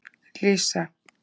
Lísa